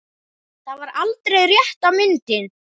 Það var aldrei rétta myndin.